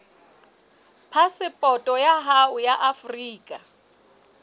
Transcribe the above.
phasepoto ya hao ya afrika